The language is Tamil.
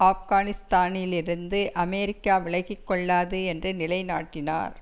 ஆப்கானிஸ்தானிலிருந்து அமெரிக்கா விலகிக்கொள்ளாது என்று நிலை நாட்டினார்